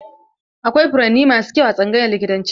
Akwai furanni masu kyau a tsangayar likitanci.